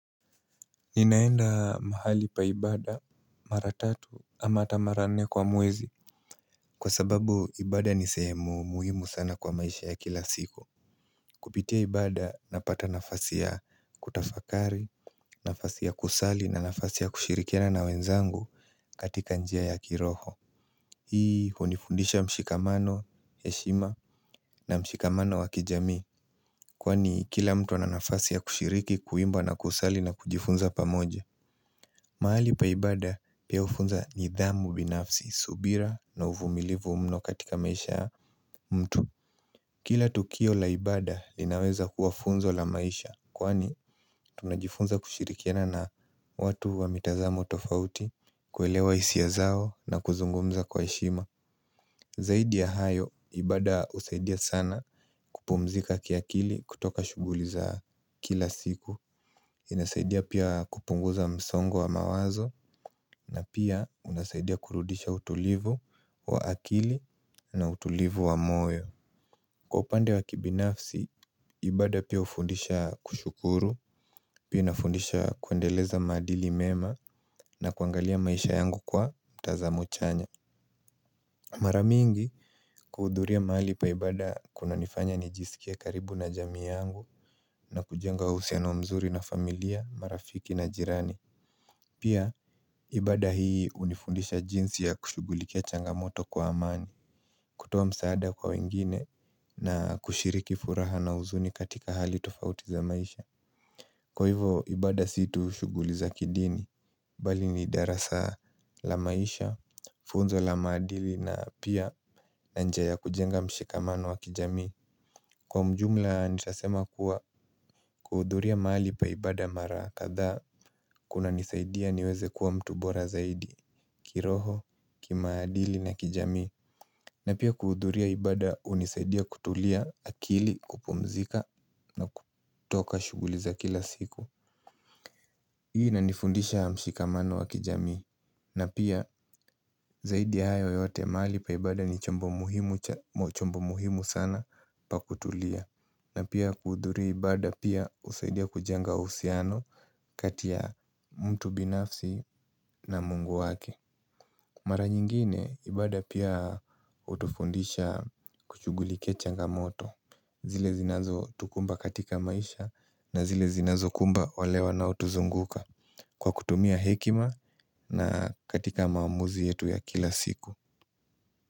Ninaenda mahali pa ibada mara tatu ama hata mara nne kwa mwezi. Kwa sababu ibada ni sehemu muhimu sana kwa maisha ya kila siku. Kupitia ibada napata nafasi ya kutafakari, nafasi ya kusali na nafasi ya kushirikiana na wenzangu katika njia ya kiroho Hii hunifundisha mshikamano, heshima na mshikamano wa kijamii Kwani kila mtu ana nafasi ya kushiriki, kuimba na kusali na kujifunza pamoja maali pa ibada pia hufunza nidhamu binafsi, subira na uvumilivu mno katika maisha ya mtu Kila tukio la ibada linaweza kuwa funzo la maisha kwani tunajifunza kushirikiana na watu wa mitazamo tofauti kuelewa hisia zao na kuzungumza kwa heshima Zaidi ya hayo, ibada husaidia sana kupumzika kiakili kutoka shughuli za kila siku inasaidia pia kupunguza msongo wa mawazo na pia unasaidia kurudisha utulivu wa akili na utulivu wa moyo. Kwa upande wa kibinafsi, ibada pia hufundisha kushukuru Pia inafundisha kuendeleza maadili mema na kuangalia maisha yangu kwa tazamo chanya Mara mingi kuhudhuria mahali pa ibada kunanifanya nijisikie karibu na jamii yangu na kujenga uhusiano mzuri na familia, marafiki na majirani Pia, ibada hii hunifundisha jinsi ya kushugulikia changamoto kwa amani kutoa msaada kwa wengine na kushiriki furaha na huzuni katika hali tofauti za maisha. Kwa hivyo ibada si tu shughuli za kidini Bali ni darasa la maisha, funzo la maadili na pia na njia ya kujenga mshikamano wa kijamii. Kwa ujumla nitasema kuwa kuhudhuria mahali pa ibada mara kadhaa kunanisaidia niweze kuwa mtu bora zaidi kiroho, kimaadili na kijamii na pia kuhudhuria ibada hunisaidia kutulia akili kupumzika na kutoka shughuli za kila siku Hii inanifundisha mshikamano wa kijami na pia zaidi ya hayo yote mahali pa ibada ni chombo muhimu sana pa kutulia na pia kuhudhuria ibada pia husaidia kujenga uhusiano kati ya mtu binafsi na mungu wake mara nyingine ibada pia hutufundisha kuchughulikia changamoto zile zinazotukumba katika maisha na zile zinazokumba wale wanaotuzunguka kwa kutumia hekima na katika maamuzi yetu ya kila siku.